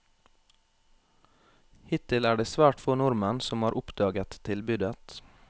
Hittil er det svært få nordmenn som har oppdaget tilbudet.